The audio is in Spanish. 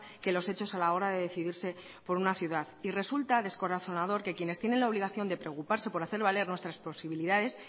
que los hechos a la hora de decidirse por una ciudad y resulta descorazonador que quienes tienen la obligación de preocuparse por hacer valer nuestras posibilidades